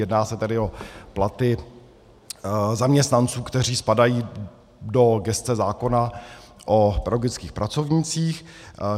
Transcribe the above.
Jedná se tedy o platy zaměstnanců, kteří spadají do gesce zákona o pedagogických pracovnících.